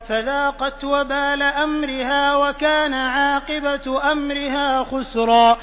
فَذَاقَتْ وَبَالَ أَمْرِهَا وَكَانَ عَاقِبَةُ أَمْرِهَا خُسْرًا